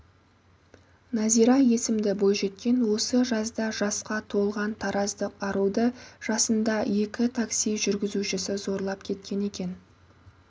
назира есімді бойжеткен осы жазда жасқа толған тараздық аруды жасында екі такси жүргізушісі зорлап кеткен екен